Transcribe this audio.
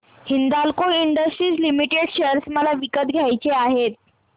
Hindalco industries limited share मला विकत घ्यायचे आहेत